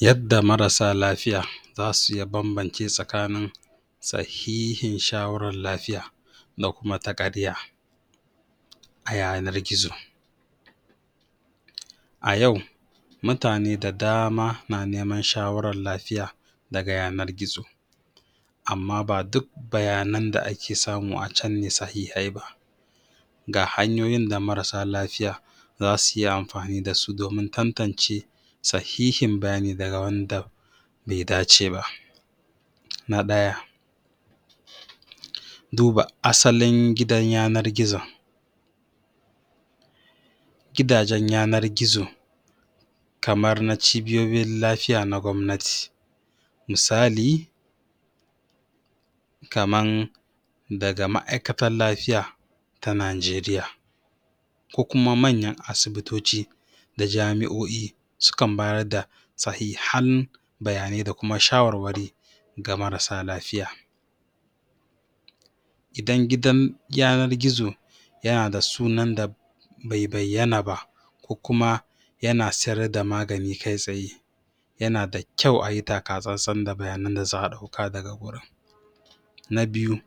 yadda marasa lafiya zasu iya bambance tsakanin sahihin shawarar lafiya da kuma ta ƙarya a yanar gizo a yau mutane da dama na neman shawarar lafiya daga yanar gizo amman ba duk bayanan da ake samu a can ne sahihai ba ga hanyoyin da marasa lafiya zasuyi amfani dasu domin tantance sahihin bayani daga wanda bai dace ba na ɗaya a duba asalin gidan yanar gizon gidajen yanar gizo kamar na cibiyoyin lafiya na gwabnati misali kaman daga ma'aikatar lafiya ta nigeria ko kuma manyan asibitoti na jami'oi sukan bayar da sahihan bayanai da kuma shawarwari ga marasa lafiya idan gidan yanar gizo yana da sunan da bai bayyana ba ko kuma yana sayar da magani kai tsaye yana da kyau ayi takatsantsan da bayani da za'a dauka daga wurin na biyu?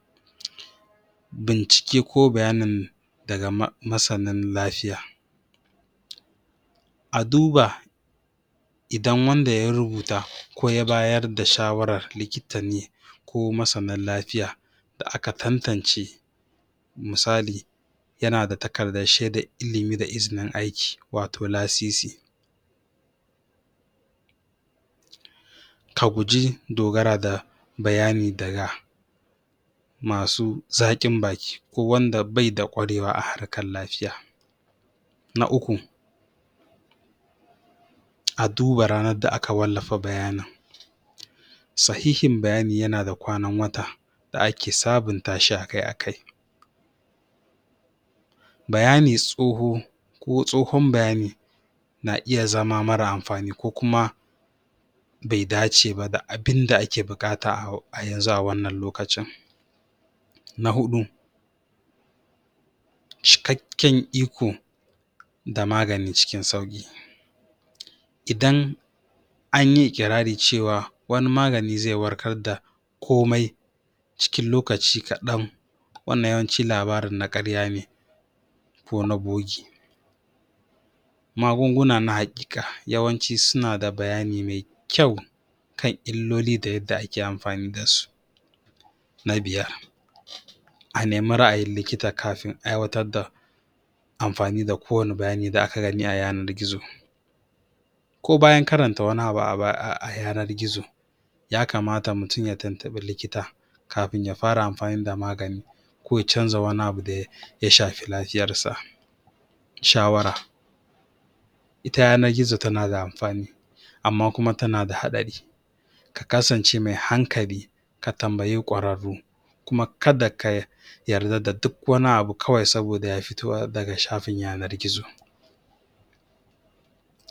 bincike ko bayainan daga masanin lafiya a duba idan wanda ya rubuta ko ya bayar da shawarar likita ne ko masanin lafiya da aka tantance misali yanada takardar shaidar ilimi da izinin aiki wato lasisi ka guji dogara da bayani daga masu zaƙin baki ko wanda baida kwarewa a harkar lafiya na uku a duba ranar da aka wallafa bayanin sahihin bayani yana da kwanar wata da ake sabunta shi akai akai bayani tsoho ko tsohon bayani na iya zama mara amfani ko kuma bai dace ba da bainda ake buƙata a yanxu a wannan lokacin na huɗu cikakken iko da magani cikin sauki idan anyi ikirarin cewa wani magani zai warkar da komai cikin lokaci kaɗan wannan yawanci labarin na karya ne ko na bogi magunguna na haƙiƙa yawanci suna da bayani ne mai kyau kan illoli da yanda ake amfani dasu na biyar a nemi ra'ayin likita kafin a aiwatar da amfani da kowanne bayani da aka gani a yanar gizo ko bayan karanta wani abu a yanar gizo ya kamata mutum ya tuntubi likita kafin ya fara amfani da magani ko ya canza wani abu daya shafi lafiyar sa shawara ita yanar gizo tana da amfani amman kuma tana da haɗari ka kasance mai hankali ka tambayi kwararru kuma kadda ka yarda da duk wani abu kawai saboda ya fito daga shafin yanar gizo